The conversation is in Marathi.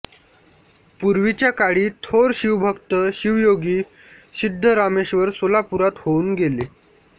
पूर्वीच्या काळी थोर शिवभक्त शिवयोगी सिद्धरामेश्वर सोलापुरात होऊन गेले